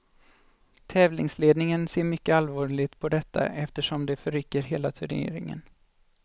Tävlingsledningen ser mycket allvarligt på detta eftersom det förrycker hela turneringen.